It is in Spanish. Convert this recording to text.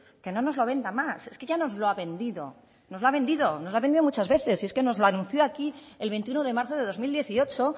que no nos lo venda más es que ya nos lo ha vendido nos lo ha vendido nos lo ha vendido muchas veces y es que nos lo anunció aquí el veintiuno de marzo de dos mil dieciocho